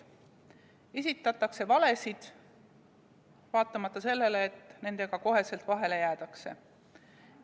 Esitatakse valesid, vaatamata sellele, et nendega kohe vahele jäädakse.